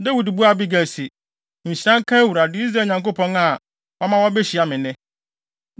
Dawid buaa Abigail se, “Nhyira nka Awurade, Israel Nyankopɔn a wama woabehyia me nnɛ.